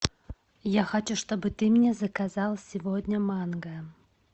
я хочу чтобы ты мне заказал сегодня манго